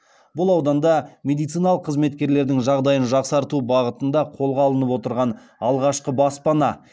бұл ауданда мемдициналық қызметкерлердің жағдайын жақсарту бағытында қолға алынып отырған алғашқы баспана